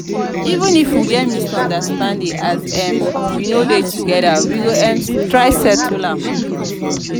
even if we get misunderstanding as um we no dey together we go um try settle am.